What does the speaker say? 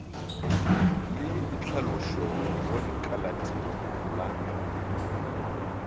le ditlhalošo go lekalatiro la